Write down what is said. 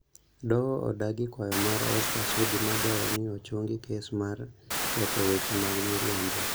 Doho odagi kwayo mar Oscar Sudi madwaro ni ochungi kes mar ketho weche mag miriambo